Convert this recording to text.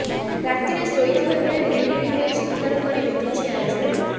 ରାତିରେ ଶୋଇଥିବା ବେଳେ ବିଳିବିଳି ହୋଇ ଚିତ୍କାର କରି ଉଠୁଛି ଆର୍ଯ୍ୟନ